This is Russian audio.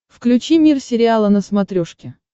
включи мир сериала на смотрешке